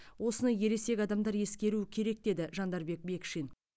осыны ересек адамдар ескеруі керек деді жандарбек бекшин